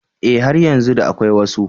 Eh har yanzu da akwai wasu.